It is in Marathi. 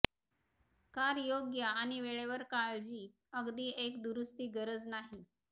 कार योग्य आणि वेळेवर काळजी अगदी एक दुरुस्ती गरज नाही